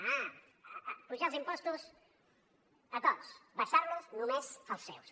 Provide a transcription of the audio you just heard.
ah apujar els impostos a tots abaixar los només als seus